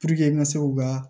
n ka se u ka